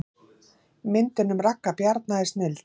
Myndin um Ragga Bjarna er snilld